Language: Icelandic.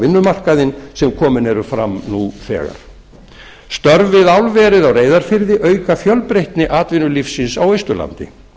vinnumarkaðinn sem komin eru fram nú þegar störf við álverið á reyðarfirði auka fjölbreytni atvinnulífsins á austurlandi